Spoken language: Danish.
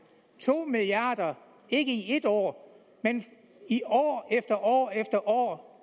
to milliard kr ikke i et år men år efter år